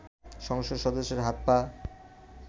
সংসদ সদস্যের হাত-পা